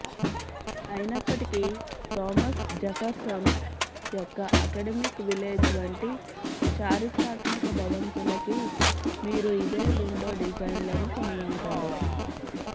అయినప్పటికీ Thomas Jefferson యొక్క academic village వంటి చారిత్రాత్మక భవంతులకి మీరు ఇదే విండో డిజైన్లను కనుగొంటారు